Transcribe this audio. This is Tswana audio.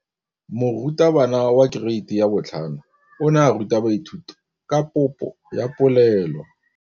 Moratabana wa kereiti ya 5 o ne a ruta baithuti ka popô ya polelô.